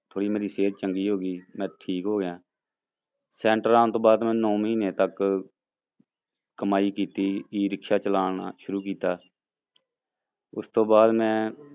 ਥੋੜ੍ਹੀ ਮੇਰੀ ਸਿਹਤ ਚੰਗੀ ਹੋ ਗਈ ਮੈਂ ਠੀਕ ਹੋ ਗਿਆ center ਆਉਣ ਤੋਂ ਬਾਅਦ ਮੈਂ ਨੋਂ ਮਹੀਨੇ ਤੱਕ ਕਮਾਈ ਕੀਤੀ ਰਿਕਸ਼ਾ ਚਲਾਉਣਾ ਸ਼ੁਰੂੂ ਕੀਤਾ ਉਸ ਤੋਂ ਬਾਅਦ ਮੈਂ